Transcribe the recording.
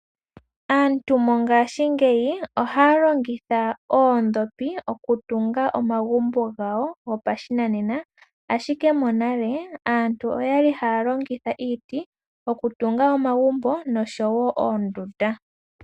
Aantu mongaashingeyi ohaa longitha oodhopi okutunga omagumbo gopashinanena ashike monale aantu oyali haalongitha iiti okutunga omagumbo noshowo oondunda.